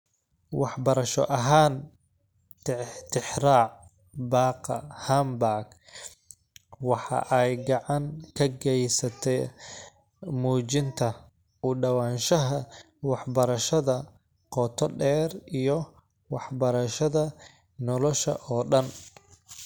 Waxbarasho ahaan, tixraaca Baaqa Hamburg waxa ay gacan ka geysataa muujinta u dhawaanshaha waxbarashada qoto dheer iyo waxbarashada nolosha oo dhan.